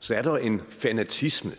så er der en fanatisme